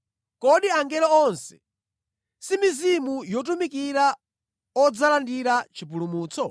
Kodi angelo onse si mizimu yotumikira odzalandira chipulumutso?